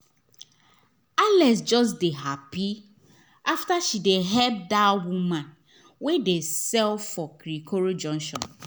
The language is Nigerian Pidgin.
alex just dey happy after she help that woman wey dey sell for kirikori junction